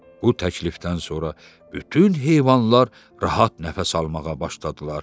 Bu təklifdən sonra bütün heyvanlar rahat nəfəs almağa başladılar.